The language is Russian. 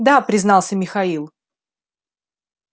да признался михаил